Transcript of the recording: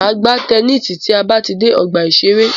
Máa gbá tennisi tí a bá ti dé ọgbà ìṣẹ̀rẹ́.